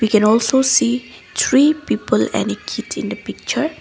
we can also see three people look in the picture.